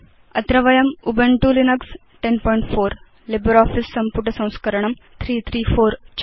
अत्र वयं Ubuntu Linux 1004 LibreOffice सम्पुट संस्करणं 334